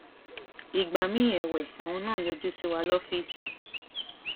ìgbà miín èwe àwọn náà ń yọjú sí wa lọfíìsì